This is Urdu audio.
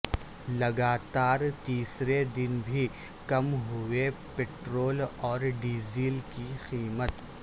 لگاتار تیسرے دن بھی کم ہوئے پٹرول اور ڈیزل کی قیمت